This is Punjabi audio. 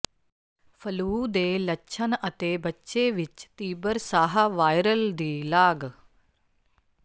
ਫਲੂ ਦੇ ਲੱਛਣ ਅਤੇ ਬੱਚੇ ਵਿਚ ਤੀਬਰ ਸਾਹ ਵਾਇਰਲ ਦੀ ਲਾਗ